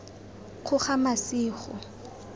kgogamasigo